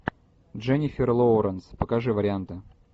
дженнифер лоуренс покажи варианты